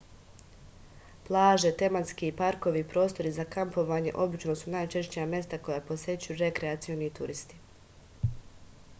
plaže tematski parkovi i prostori za kampovanje obično su najčešća mesta koja posećuju rekreacioni turisti